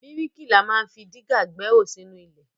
Bríkìlà ma ń fi dígà gbẹ́hò sínú ilẹ̀.